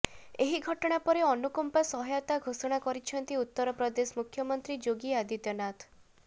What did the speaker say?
ଏହି ଘଟଣା ପରେ ଅନୁକମ୍ପା ସହାୟତା ଘୋଷଣା କରିଛନ୍ତି ଉତ୍ତରପ୍ରଦେଶ ମୁଖ୍ୟମନ୍ତ୍ରୀ ଯୋଗୀ ଆଦିତ୍ୟନାଥ